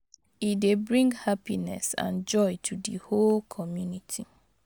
E dey bring hapiness and joy to di whole community